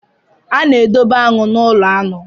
A na-edobe aṅụ n'ụlọ aṅụ.